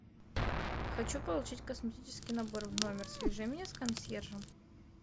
хочу получить косметический набор в номер свяжи меня с консьержем